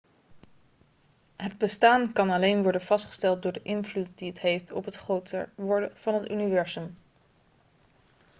het bestaan kan alleen worden vastgesteld door de invloed die het heeft op het groter worden van het universum